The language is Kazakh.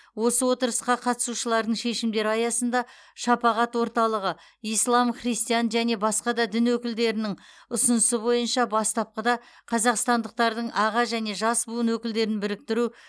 осы отырысқа қатысушылардың шешімдері аясында шапағат орталығы ислам христиан және басқа дін өкілдерінің ұсынысы бойынша бастапқыда қазақстандықтардың аға және жас буын өкілдерін біріктіріру